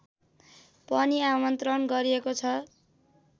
पनि आमन्त्रण गरिएको छ